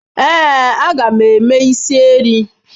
Ee, a ga m eme is erii.